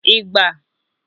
Ịgba